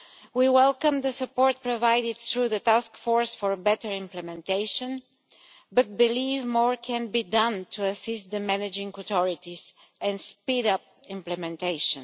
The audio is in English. We welcome the support provided through the Taskforce for Better Implementation but we believe more can be done to assist the managing authorities and speed up implementation.